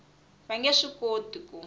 va nge swi koti ku